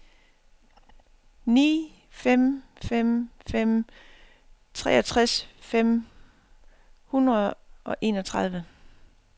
ni fem fem fem treogtres fem hundrede og enogtredive